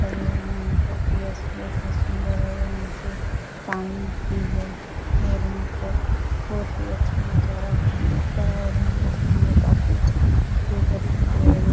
बगिये में सु बोहोत ही सुन्दर है और नीचे पानी भी है और यहाँ पर बोहोत ही अच्छा नज़ारा दिख रहा है और यहाँ दिखने में काफी हरे-भरे पेड़ भी --